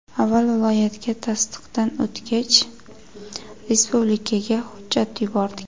Avval viloyatga, tasdiqdan o‘tgach, respublikaga hujjat yubordik.